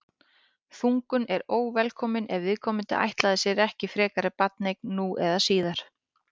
þungun er óvelkomin ef viðkomandi ætlaði sér ekki frekari barneign nú eða síðar